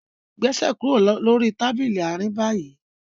Gbèsè kúrò lórí Tábìlì Àárín bayí!